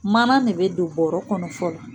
Mana de bɛ don bɔrɔ kɔnɔ fɔlɔ